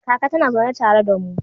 Kaka tana zaune tare da mu.